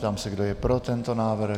Ptám se, kdo je pro tento návrh.